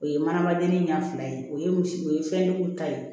O ye manamaden ɲɛ fila ye o ye misigo ye fɛnjugu ta ye